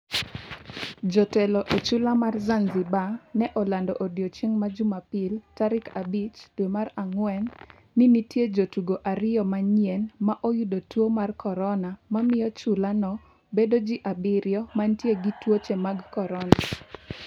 Jotelo e chula mar Zanzibar ne olando odiochieng' Jumapil tarik 05 dwe mar Ang'wen ni nitie jotugo ariyo manyien ma oyudo tuo mar corona, mamiyo chula no bedo ji abiriyo mantie gi tuoche mag corona.